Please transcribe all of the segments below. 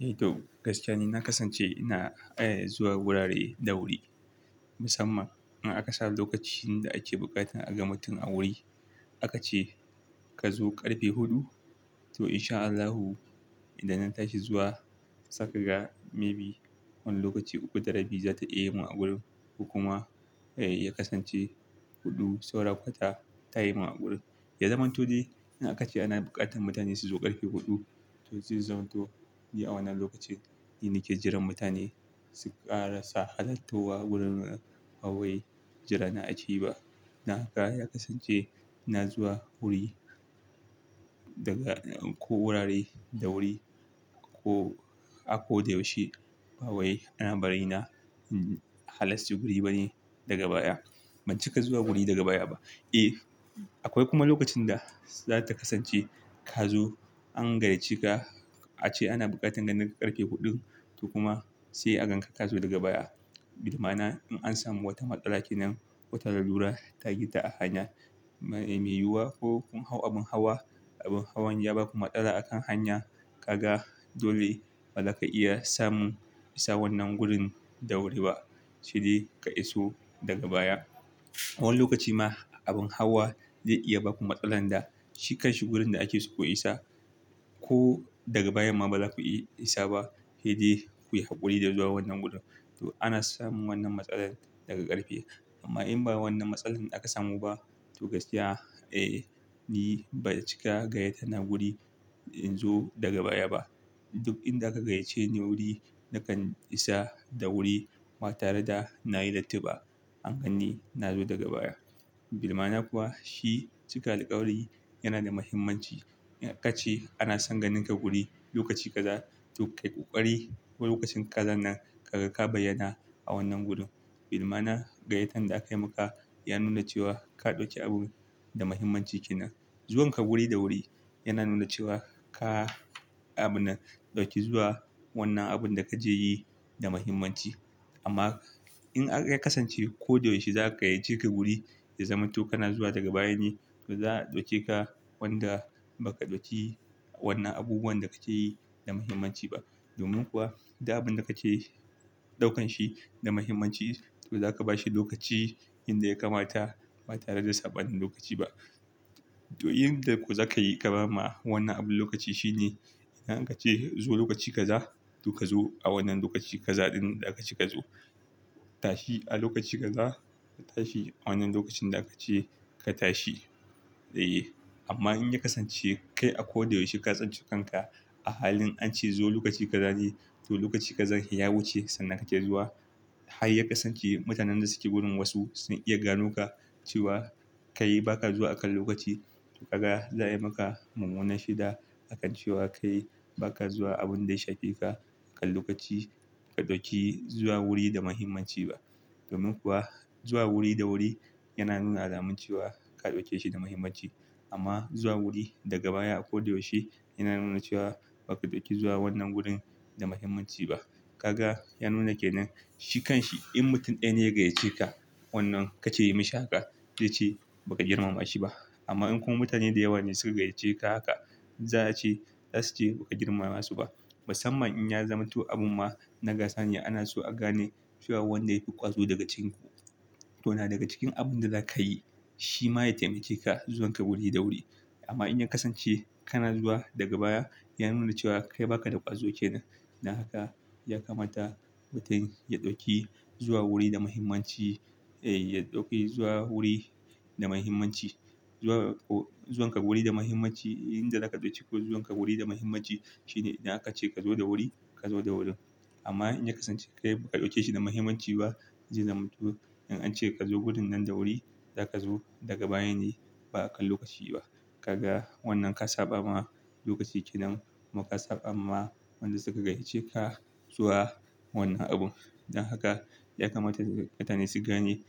Eh to gaskiya ni na kasance ina, eh, zuwa wurare da wuri. Musamman in aka sa lokaci inda ake buƙatar a ga mutum a wuri. Aka ce ka zo ƙarfe huɗu. To in sha Allahu idan na tashi zuwa saka ga maybe wani lokaci uku da rabi za ta iya yi mun a gurin. Kuma, eh, ya kasance huɗu saura kwata ta yi mun a gurin. Ya zamanto dai in aka ce ana buƙatar mutane su zo ƙarfe huɗu. To zai zamanto ni a wannan lokacin ni nake jiran mutane su ƙara sa hadattowa wurin nan. Bawai jira na ake yi ba. Na haka ya kasance na zuwa wuri daga ko wurare da wuri ko a ko da yaushe. Bawai ana bari na, in halarci wuri bane daga baya. Ban cika zuwa wuri daga baya ba. Eh, akwai kuma lokacin da za ta kasance ka zo an gayyace ka. Ace ana buƙatar ka nan da ƙarfe huɗun. To kuma sai a ganka ka zo daga baya. Bilmana in an samu wata matsala kenan. Wata lalura ta yi ta a hanya. Yana mai yuwa ko kun hau abin hawa. Abin hawan ya baku matsala a kan hanya. Kaga dole bazaka iya samun isa wannan wurin da wuri ba. Shi dai ka iso daga baya. Wani lokaci ma abin hawa zai iya baku matsalar da shi kanshi wurin da ake so ku isa. Ko daga baya ma bazaku iya isa ba. Hedai kuyi haƙuri da zuwa wannan wurin. To ana samun wannan matsala daga ƙarfe. Amma in ba wannan matsalar da aka samu ba to gaskiya, eh, ni ba cika gayyata na wuri in zo daga baya ba. Duk inda aka gayyace ni wuri nakan isa da wuri. Ba tare da na yi lati ba an gani na zo daga baya. Bilmana kuwa shi cika alƙawari yana da muhimmanci. In aka ce ana son ganinka wuri lokaci kaza to kai ƙwaƙwari wani lokacin kaza nan ka ga ka bayyana a wannan gurin. Bilmana gayyatan da aka yi maka ya nuna cewa ka ɗauki abun da muhimmanci kenan. Zuwan ka wuri da wuri yana nuna cewa ka, abun nan ka ɗauki zuwa wannan abun da ka je yi da muhimmanci. Amma in aka kasance ko da yaushe za ka gayyace ka wuri ya zamanto kana zuwa daga baya ne. To za a ɗauke ka wanda baka ɗauki wannan abubuwan da ka je yi da muhimmanci ba. Domin kuwa da abun da ka yi ɗaukan shi da muhimmanci to zaka ba shi lokaci inda ya kamata ba tare da saba wani lokaci ba. To yin da ku za ka yi kamar ma wannan abun lokaci shi ne. In aka ce zo lokaci kaza to ka zo a wannan lokaci kaza ɗin da aka ce ka zo. Tashi a lokaci gaza. Tashi a wannan lokacin da aka ce ka tashi. Dai. Amma in ya kasance kai akwai da yaushe kasance kanka. A halin an ce zo lokaci kaza ne. To lokaci kazar ya wuce sannan ka ke zuwa. Har ya kasance mutanen da suke wurin wasu sun iya gano ka cewa kai baka zuwa akan lokaci. Kaga za a yi maka mumuna shida. Akan cewa kai baka zuwa abun da ya shafi ka akan lokaci. Ka ɗauki zuwa wuri da muhimmanci ba. Domin kuwa zuwa wuri da wuri yana nuna alamun cewa ka ɗauke shi da muhimmanci. Amma zuwa wuri daga baya akwai da yaushe yana nuna cewa baka ɗauki zuwa wannan wurin da muhimmanci ba. Kaga ya nuna ke nan shi kanshi in mutum ɗaya ne ya gayyace ka wannan ka ce yi mashi haka. Zai ce "baka girmama shi ba." Amma in kuma mutane da yawa ne suka gayyace ka haka. Za a ce "za su ce baka girmama su ba." Musamman in ya zamanto abu ma na gasa ne ana so a gane cewa wanda yafi ƙwazo daga cikin ku. To na daga cikin abun da za ka yi shi ma ya taimake ka zuwan ka wuri da wuri. Amma in ya kasance kana zuwa daga baya ya nuna cewa kai baka da ƙwazo kenan. Dan haka ya kamata mutum ya ɗauki zuwa wuri da muhimmanci. Eh, ya ɗauki zuwa wuri da muhimmanci. Zuwa ko zuwan ka wuri da muhimmanci. Inda za ka ɗauki ko zuwan ka wuri da muhimmanci shi ne idan aka ce ka zo da wuri ka zo da wuri. Amma in ya kasance kai ba ka ɗauke shi da muhimmanci ba. Zai zamanto in an ce ka zo wurin nan da wuri za ka zo daga baya ne ba akan lokaci ba. Kaga wannan ka saba ma lokaci kenan. Ma ka saba ma wanda suka gayyace ka zuwa wannan abun. Dan haka ya kamata mutane su gane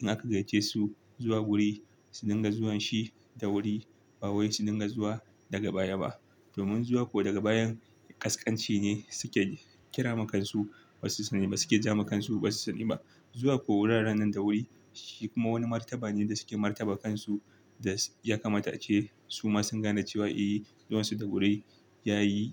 in aka gayyace su zuwa wuri su dinga zuwan shi da wuri. Bawayi su dinga zuwa daga baya ba. Domin zuwa ko daga bayan ƙasƙanci ne suke kira ma kansu. Ba su sani ba suke ja makansu. Ba su sani ba. Zuwa ko wuraren nan da wuri shi kuma wani martaba ne da suke martaba kansu. Da ya kamata ace su masu gane cewa, eh, zuwan su da wuri yayi.